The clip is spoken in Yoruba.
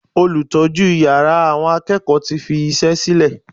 Olùtọ́jú yàrá àwọn akẹ́kọ̀ọ́ tí fi iṣẹ́ sílè.